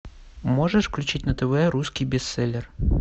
можешь включить на тв русский бестселлер